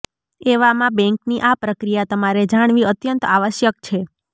એવામાં બેંકની આ પ્રક્રિયા તમારે જાણવી અત્યંત આવશ્યક છે